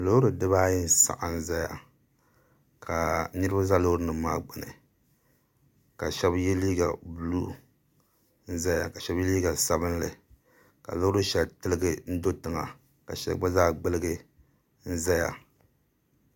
Loori dibaayi n saɣam ʒɛya ka niraba ʒɛ loori nim maa gbuni ka shab yɛ liiga buluu n ʒɛya ka shab yɛ liiga sabinli ka loori shɛli tiligi n do tiŋa ka shɛli gba zaa gbuligi n doya